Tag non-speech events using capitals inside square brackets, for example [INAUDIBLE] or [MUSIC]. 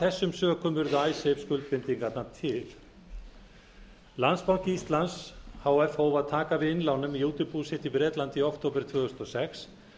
þessum sökum urðu [UNINTELLIGIBLE] skuldbindingarnar til landsbanki íslands h f hóf að taka við innlánum í útibú sitt í bretlandi í október tvö þúsund og sex